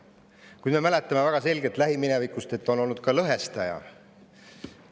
Kuid me mäletame väga selgelt lähiminevikust, et meri on olnud ka lõhestaja.